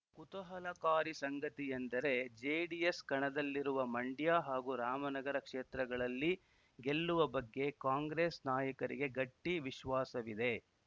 ಕುತೂಹಲಕಾರಿ ಸಂಗತಿಯೆಂದರೆ ಜೆಡಿಎಸ್‌ ಕಣದಲ್ಲಿರುವ ಮಂಡ್ಯ ಹಾಗೂ ರಾಮನಗರ ಕ್ಷೇತ್ರಗಳಲ್ಲಿ ಗೆಲ್ಲುವ ಬಗ್ಗೆ ಕಾಂಗ್ರೆಸ್‌ ನಾಯಕರಿಗೆ ಗಟ್ಟಿವಿಶ್ವಾಸವಿದೆ